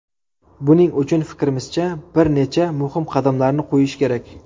Buning uchun, fikrimizcha, bir necha muhim qadamlarni qo‘yish kerak.